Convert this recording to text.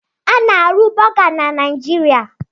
A na-arụ Bọga na Niijiria.